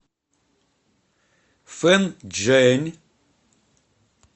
фэнчжэнь